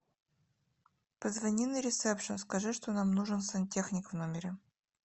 позвони на ресепшен скажи что нам нужен сантехник в номере